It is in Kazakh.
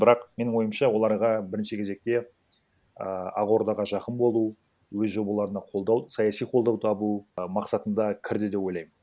бірақ менің ойымша оларға бірінші кезекте і ақордаға жақын болу өз жобаларына қолдау саяси қолдау табу і мақсатында кірді деп ойлаймын